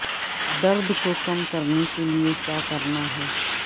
درد کو کم کرنے کے لئے کیا کرنا ہے